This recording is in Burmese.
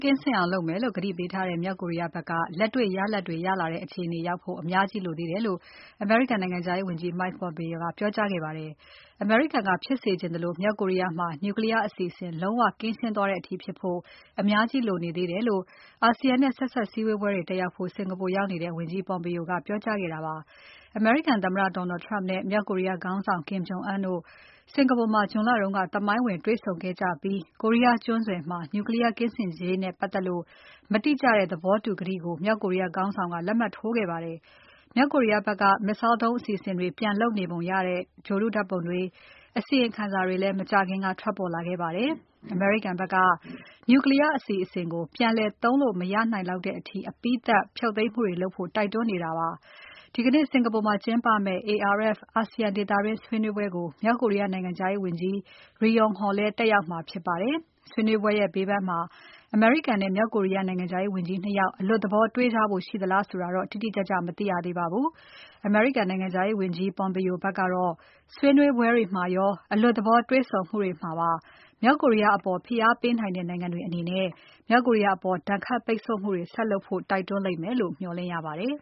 ကင်းစင်အောင်လုပ်မယ်လို့ ကတိပေးထားတဲ့ မြောက်ကိုရီးယား ဘက် က လက်တေ့ွရလာဒ်တွေ ရလာတဲ့ အခြေအနေရောက်ဖို့ အများကြီး လိုသေး တယ် လို့ အမေရိကန်နိုင်ငံခြားရေးဝန်ကြီး Mike Pompeo က ပြောကြားခဲ့ပါ တယ်။ အမေရိကန်က ဖြစ်စေချင်သလို မြောက်ကိုရီးယားမှာ Nuclear အစီအစဉ်တွေ လုံးဝ ကင်းရှင်းသွားတဲ့အထိ ဖြစ်ဖို့ အများကြီးလိုနေသေးတယ်လို့ အာဆီယံနဲ့ ဆက်စပ်စည်းဝေးပွဲတွေ တက်ရောက်ဖို့ စင်္ကာပူနိုင်ငံကို ရောက်နေတဲ့ ဝန်ကြီး Pompeo ကပြောကြားခဲ့တာပါ။ အမေရိကန်သမ္မတ Donald Trump နဲ့ မြောက် ကိုရီးယား ခေါင်းဆောင် Kim Jong Un တို့စင်္ကာပူမှာ June လက သမိုင်းဝင် တွေ့ဆုံခဲ့ကြပြီး ကိုရီးယား ကျွန်းဆွယ်မှာ Nuclear ကင်းစင်ရေးနဲ့ပတ်သက်လို့ မတိကျတဲ့ သဘောတူကတိကို မြောက်ကိုရီးယား ခေါင်းဆောင်က လက်မှတ်ထိုးခဲ့ပါတယ်။ မြောက်ကိုရီးယားဘက်က Missile ဒုံးအစီအစဉ်တွေ ပြန်လုပ်နေပုံရတယ်ဆိုတဲ့ ဂြိုဟ်တုဓါတ်ပုံတွေ အစီရင်ခံစာ တွေလည်း မကြာခင်က ထွက်ပေါ်လာခဲ့ပါတယ်။ အမေရိကန်ဘက်က Nuclear အစီအစဉ်ကို ပြန်လည်သုံးလို့ မရနိုင်လောက်တဲ့ အထိ အပြီးသတ် ဖြုတ်သိမ်းမှုတွေလုပ်ဖို့ တိုက်တွန်းနေတာပါ။ ဒီကနေ့ စင်္ကာပူမှာကျင်းပမယ့် ARF အာဆီယံဒေသတွင်းဆွေးနွေးပွဲကို မြောက် ကိုရီးယားနိုင်ငံခြားရေးဝန်ကြီး Ri Yong Ho လည်း တက်ရောက်မှာဖြစ်ပါတယ်။ ဆွေးနွေးပွဲတွေရဲ့ ဘေးပန်းမှာ အမေရိကန်နဲ့ မြောက်ကိုရီးယား နိုင်ငံခြားရေး ဝန်ကြီး ၂ ယောက် အလွတ်သဘော တေ့ွကြဖို့ရှိသလားဆိုတာတော့ တိတိကျကျ မသိရပါဘူး။ အမေရိကန်နိုင်ငံခြားရေးဝန်ကြီး Pompeo ဘက်ကတော့ ဆွေးနွေးပွဲ တွေမှာရော အလွတ်သဘောတေ့ွဆုံမှုတွေမှာပါ မြောက်ကိုရီးယားအပေါ် ဖိအားပေးနိုင်တဲ့နိုင်ငံတွေအနေနဲ့ မြောက်ကိုရီးယားအပေါ် ဒဏ်ခတ်ပိတ်ဆို့မှုတွေ ဆက်လုပ်ဖို့ တိုက်တွန်းလိမ့်မယ်လို့ မျှော်လင့်ရပါတယ်